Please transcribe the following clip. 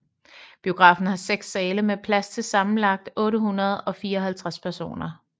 Biografen har seks sale med plads til sammenlagt 854 personer